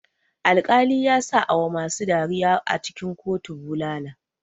Alkali yasa awa masu dariya a cikin kotu bulala.